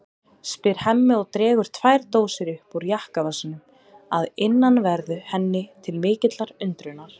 spyr Hemmi og dregur tvær dósir upp úr jakkavasanum að innanverðu henni til mikillar undrunar.